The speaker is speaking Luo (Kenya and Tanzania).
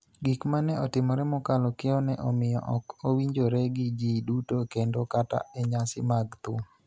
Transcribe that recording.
Gik ma ne otimore mokalo kiewo ne omiyo ok owinjore gi ji duto kendo kata e nyasi mag thum,